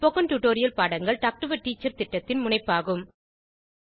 spoken tutorial பாடங்கள் talk to a teacher திட்டத்தின் முனைப்பாகும்